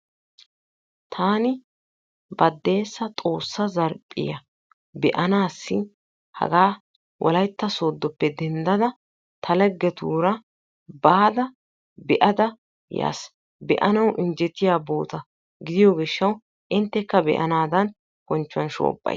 taani baddeessa Xoossa zarphphiya be'aanassi hagaa Wolaytta sooddoppe denddada ta laggetuura baada be'ada yaas. be'anaw injjettiya bootta gidiyo gishshaw inttekka be'anadan bonchchuwan shoobbays.